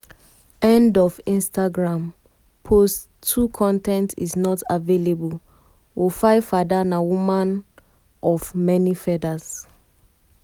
end of instagram post 2 con ten t is not available wofaifada na woman of woman of many feathers.